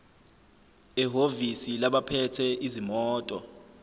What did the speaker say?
ehhovisi labaphethe izimoto